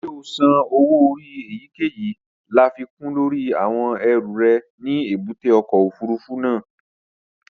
Ṣé o san owó orí èyíkèyìí láfikún lórí àwọn ẹrù rẹ ní èbúté ọkọ̀ òfurufú náà?